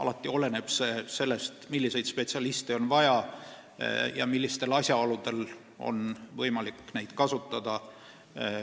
Kõik oleneb sellest, milliseid spetsialiste on vaja ja millistel asjaoludel on võimalik neid kasutada.